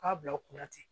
K'a bila u kunna ten